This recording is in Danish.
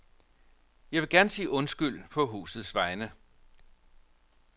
Jeg vil gerne sige undskyld på husets vegne.